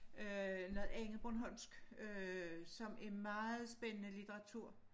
Øh noget andet bornholmsk øh som er meget spændende litteratur